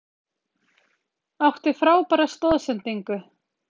Átti frábæra stoðsendingu.